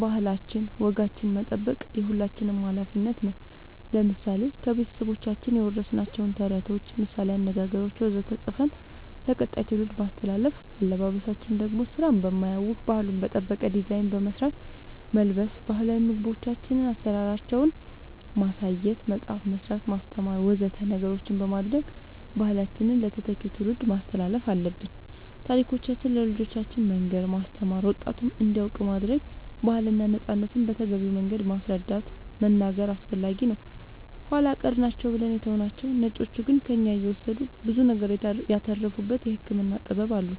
ባህላችን ወጋችን መጠበቅ የሁላችንም አላፊነት ነው ለምሳሌ ከቤተሰቦቻችን የወረስናቸውን ተረቶች ምሳላዊ አነገገሮች ወዘተ ፅፈን ለቀጣይ ትውልድ ማስተላለፍ አለበበሳችን ደሞ ስራን በማያውክ ባህሉን በጠበቀ ዲዛይን በመስራት መልበስ ባህላዊ ምግቦቻችን አሰራራቸውን ማሳየት መፅአፍ መስራት ማስተማር ወዘተ ነገሮች በማድረግ ባህላችንን ለተተኪው ትውልድ ማስተላለፍ አለብን ታሪኮቻችን ለልጆቻን መንገር ማስተማር ወጣቱም እንዲያውቅ ማረግ ባህልና ነፃነትን በተገቢው መንገድ ማስረዳት መናገር አስፈላጊ ነው ኃላ ቀር ናቸው ብለን የተውናቸው ነጮቹ ግን ከእኛ እየወሰዱ ብዙ ነገር ያተረፉበት የህክምና ጥበብ አሉን